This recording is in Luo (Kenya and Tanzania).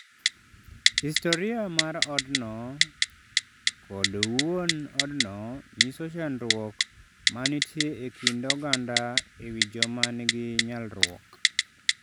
Historia mar otno kod wuon otno nyiso chandruok ma nitie e kind oganda e wi joma nigi nyalruok.